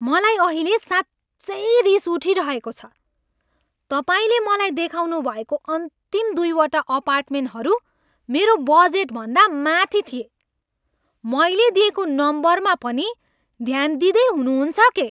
मलाई अहिले साँच्चै रिस उठिरहेको छ। तपाईँले मलाई देखाउनुभएको अन्तिम दुई वटा अपार्टमेन्टहरू मेरो बजेटभन्दा माथि थिए। मैले दिएको नम्बरमा पनि ध्यान दिँदै हुनुहुन्छ के?